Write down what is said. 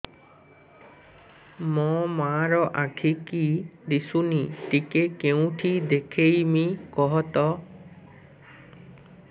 ମୋ ମା ର ଆଖି କି ଦିସୁନି ଟିକେ କେଉଁଠି ଦେଖେଇମି କଖତ